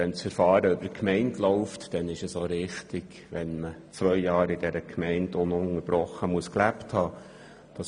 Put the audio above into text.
Wenn das Verfahren über die Gemeinde läuft, dann ist es auch richtig, dass man zwei Jahre ununterbrochen in der Gemeinde gelebt haben soll.